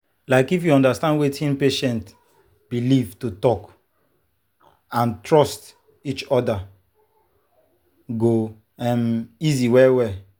like if you understand wetin patient believe to talk and trust each other go um easy well-well.